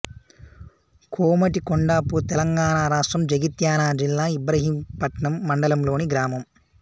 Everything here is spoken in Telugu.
కోమటికొండాపూర్ తెలంగాణ రాష్ట్రం జగిత్యాల జిల్లా ఇబ్రహీంపట్నం మండలంలోని గ్రామం